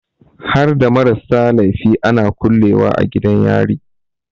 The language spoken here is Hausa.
Harda marasa laifi ana kulle wa a gidan yari?